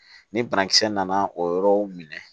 Ni banakisɛ nana o yɔrɔw minɛ